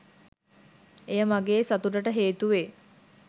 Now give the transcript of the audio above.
එය මගේ සතුටට හේතු වේ